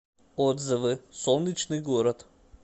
отзывы солнечный город